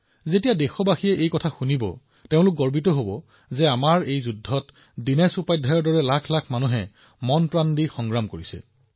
যেতিয়া দেশবাসীয়ে এয়া শুনিব দেশ গৌৰৱান্বিত হব যে আমি যুদ্ধত জয়ী হম কিয়নো দীনেশ উপাধ্যায়ৰ দৰে লাখ লাখ লোক সক্ৰিয়ভাৱে জড়িত হৈ আছে